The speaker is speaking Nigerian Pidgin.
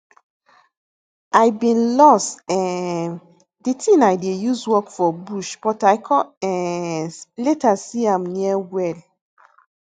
i been loss um di tin i dey use work for bush but i con um later see am near well